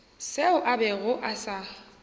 seo a bego a sa